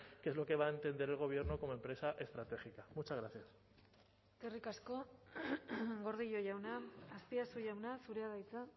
qué es lo que va a entender el gobierno como empresa estratégica muchas gracias eskerrik asko gordillo jauna azpiazu jauna zurea da hitza